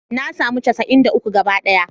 Na samu casa'in da uku gabaɗaya